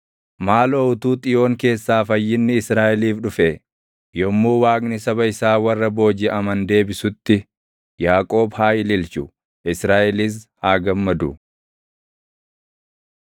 Maaloo utuu Xiyoon keessaa fayyinni Israaʼeliif dhufee! Yommuu Waaqni saba isaa warra boojiʼaman deebisutti, Yaaqoob haa ililchu; Israaʼelis haa gammadu!